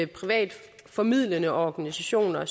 private formidlende organisationer